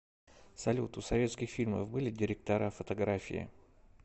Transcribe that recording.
салют у советских фильмов были директора фотографии